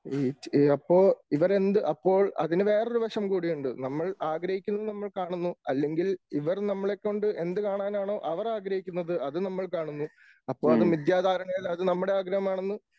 ഈ അപ്പോൾ ഇവർ എന്ത്? അപ്പോൾ അതിന് വേറെ ഒരു വശം കൂടിയുണ്ട് നമ്മൾ ആഗ്രഹിക്കുന്നത് നമ്മൾ കാണുന്നു അല്ലെങ്കിൽ ഇവർ നമ്മളെക്കൊണ്ട് എന്ത് കാണാനാണ് അവർ ആഗ്രഹിക്കുന്നത് അത് നമ്മൾ കാണുന്നു അപ്പോൾ അത് മിദ്യാ ധാരണയിൽ നമ്മുടെ ആഗ്രഹമാണെന്ന്